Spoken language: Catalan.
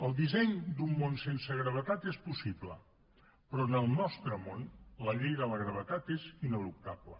el disseny d’un món sense gravetat és possible però en el nostre món la llei de la gravetat és ineluctable